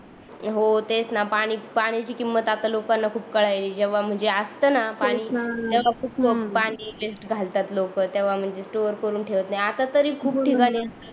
हो तेच न पाणी पाणीची किंमत आता लोकांना खुप कळायली जेव्हा म्हणजे असत न पाणी तेव्हा खूप लोकं पाणी वेस्ट घालतात लोकं तेव्हा म्हणजे स्टोर करून ठेवत नाही आता तरी खूप ठिकाणी